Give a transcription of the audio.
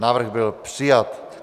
Návrh byl přijat.